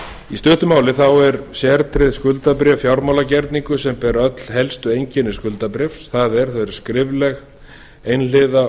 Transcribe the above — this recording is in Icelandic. í stuttu máli er sértryggt skuldabréf fjármálagerningur sem ber öll helstu einkenni skuldabréfs það er það er skrifleg einhliða